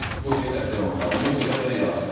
Bu işə dəstək olmaq lazımdır, bu şeyə də belə yanaşıram mən.